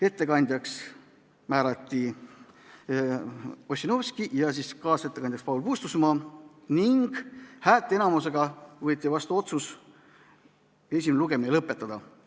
Ettekandjaks määrati Ossinovski ja kaasettekandjaks Paul Puustusmaa ning häälteenamusega võeti vastu otsus esimene lugemine lõpetada.